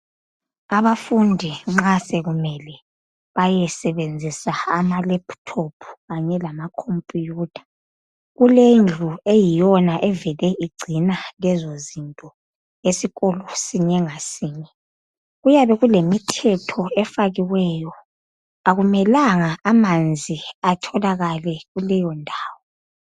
Abafundi nxa sekumele bayesebenzisa ama lephuthophu kanye lamakhompiyutha, kulendlu eyiyoyona evele igcina izinto lezo esikolo sinye ngasinye. Kuyabe kulemithetho efakiweyo. Akumelanga amanzi atholakale kuleyondawo.